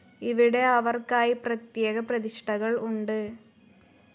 ഇവിടെ അവർക്കായി പ്രത്യേക പ്രതിഷ്ഠകൾ ഉണ്ട്.